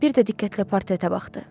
Bir də diqqətlə portretə baxdı.